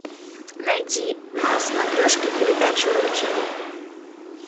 найди на смотрешке передачу ру тиви